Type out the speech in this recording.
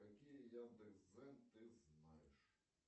какие яндекс дзен ты знаешь